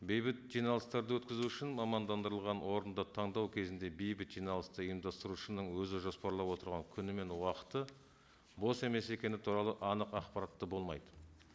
бейбіт жиналыстарды өткізу үшін мамандандырылған орынды таңдау кезінде бейбіт жиналысты ұйымдастырушының өзі жоспарлап отырған күні мен уақыты бос емес екені туралы анық ақпаратты болмайды